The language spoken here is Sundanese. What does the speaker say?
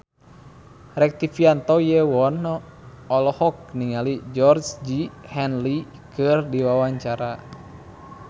Rektivianto Yoewono olohok ningali Georgie Henley keur diwawancara